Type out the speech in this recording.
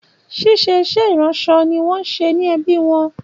Ṣíṣe iṣẹ́ ìdílé wọn ni iṣẹ́ ẹbí wọn.